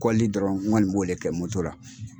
Kɔlili dɔrɔn n kɔni b'o le kɛ la.